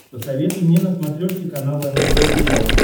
посоветуй мне на смотрешке канал нтв сериал